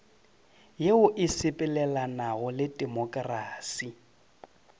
yeo e sepelelanago le temokrasi